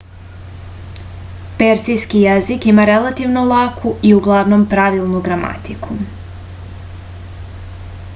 persijski jezik ima relativno laku i uglavnom pravilnu gramatiku